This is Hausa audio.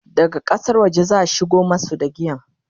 daga ƙasar waje zaa shigo masu da giyan